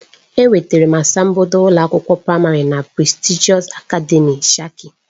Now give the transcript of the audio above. Enwetara m asambodo ụlọ akwụkwọ praịmarị na Prestigị akademị shika.